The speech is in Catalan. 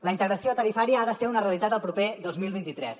la integració tarifària ha de ser una realitat el proper dos mil vint tres